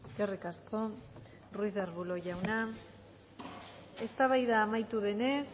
eskerrik asko ruiz de arbulo jauna eztabaida amaitu denez